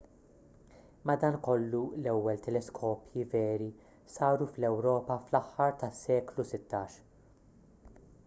madankollu l-ewwel teleskopji veri saru fl-ewropa fl-aħħar tas-seklu 16